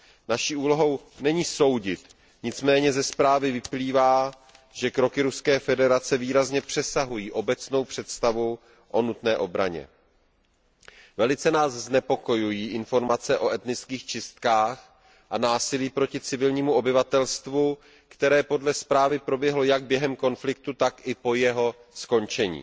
Naší úlohou není soudit, nicméně ze zprávy vyplývá, že kroky Ruské federace výrazně přesahují obecnou představu o nutné obraně. Velice nás znepokojují informace o etnických čistkách a násilí proti civilnímu obyvatelstvu, které podle zprávy proběhlo jak během konfliktu, tak i po jeho skončení.